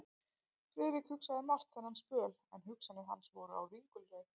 Friðrik hugsaði margt þennan spöl, en hugsanir hans voru á ringulreið.